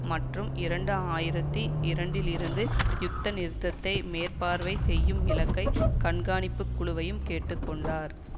மற்றும் இரண்டு ஆயிரத்தி இரண்டில் இருந்து யுத்த நிறுத்தத்தை மேற்பார்வை செய்யும் இலங்கை கண்காணிப்பு குழுவையும் கேட்டு கொண்டார்